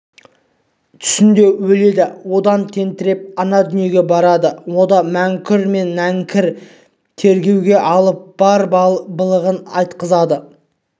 түсінде өледі одан тентіреп ана дүниеге барады онда мүңкір мен нәңкір тергеуге алып бар былығын айтқызады